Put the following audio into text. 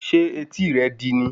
Ṣé etí rẹ̀ di ni